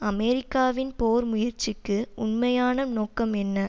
அமெரிக்காவின் போர் முயற்சிக்கு உண்மையான நோக்கம் என்ன